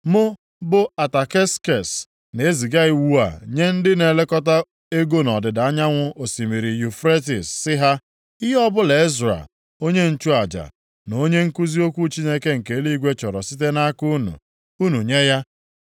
Mụ, bụ Ataksekses, na-eziga iwu a nye ndị na-elekọta ego nʼọdịda anyanwụ osimiri Yufretis sị ha, ihe ọbụla Ezra, onye nchụaja, na onye nkuzi okwu Chineke nke eluigwe chọrọ site nʼaka unu, unu nye ya.